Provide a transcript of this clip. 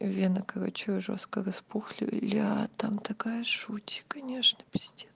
вены короче жёстко распухли бля там такая жуть конечно пиздец